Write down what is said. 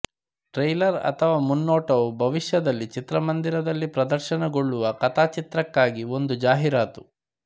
trailer ಅಥವಾ ಮುನ್ನೋಟವು ಭವಿಷ್ಯದಲ್ಲಿ ಚಿತ್ರಮಂದಿರದಲ್ಲಿ ಪ್ರದರ್ಶನಗೊಳ್ಳುವ ಕಥಾಚಿತ್ರಕ್ಕಾಗಿ ಒಂದು ಜಾಹೀರಾತು